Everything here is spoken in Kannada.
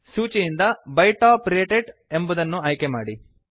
ಸೂಚಿಯಿಂದ ಬೈ ಟಾಪ್ ರೇಟೆಡ್ ಎಂಬುದನ್ನು ಆಯ್ಕೆಮಾಡಿ